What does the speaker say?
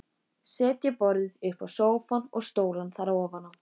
Setja borðið uppá sófann og stólana þar ofaná.